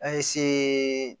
An ye se